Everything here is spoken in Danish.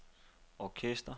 orkester